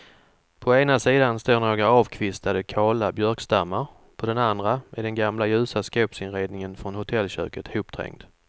På ena sidan står några avkvistade kala björkstammar, på den andra är den gamla ljusa skåpsinredningen från hotellköket hopträngd.